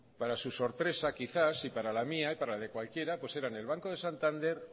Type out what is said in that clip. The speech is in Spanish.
para su sorpresa quizás para la mía y para la de cualquiera pues eran el banco de santander